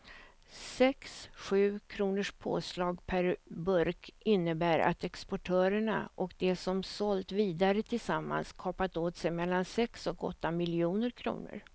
Sex sju kronors påslag per burk innebär att exportörerna och de som sålt vidare tillsammans kapat åt sig mellan sex och åtta miljoner kronor.